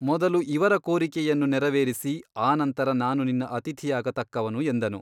ಮೊದಲು ಇವರ ಕೋರಿಕೆಯನ್ನು ನೆರವೇರಿಸಿ ಆನಂತರ ನಾನು ನಿನ್ನ ಅತಿಥಿಯಾಗ ತಕ್ಕವನು ಎಂದನು.